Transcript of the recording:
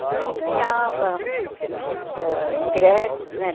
Então ele ganhava ãh ingressos, né?